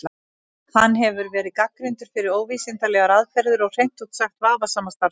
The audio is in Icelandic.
Hann hefur verið gagnrýndur fyrir óvísindalegar aðferðir og hreint út sagt vafasama starfshætti.